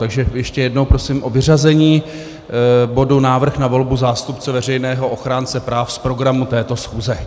Takže ještě jednou, prosím o vyřazení bodu návrh na volbu zástupce veřejného ochránce práv z programu této schůze.